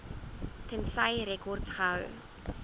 tensy rekords gehou